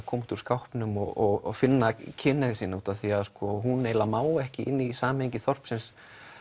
koma út úr skápnum og finna kynhneigð sína því hún má ekki í samhengi þorpsins